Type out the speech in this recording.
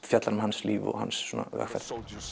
fjallar um hans líf og hans vegferð